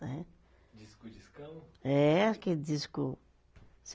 Né. Disco discão? é aquele disco